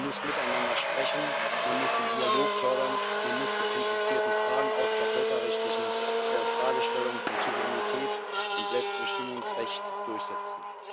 Man muss miteinander sprechen, man muss den Dialog fördern, man muss die komplizierten Fragen, auch der völkerrechtlichen Fragestellungen von Souveränität und Selbstbestimmungsrecht, durchsetzen.